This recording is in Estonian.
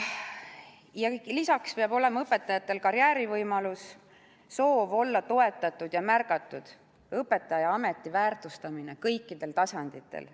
Lisaks peab õpetajatel olema karjäärivõimalus, neil on soov olla toetatud ja märgatud, õpetajaametit tuleks väärtustada kõikidel tasanditel.